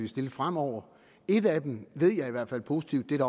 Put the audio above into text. stille fremover et af dem ved jeg i hvert fald positivt at